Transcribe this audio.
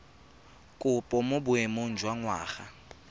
kopo mo boemong jwa ngwana